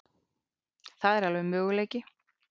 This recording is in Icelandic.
Það er alveg möguleiki.